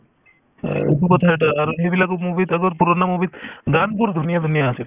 এহ্, এইটো কথা এটা আৰু সেইবিলাকো movie ত পুৰণা movie ত গানবোৰ ধুনীয়া ধুনীয়া আছিল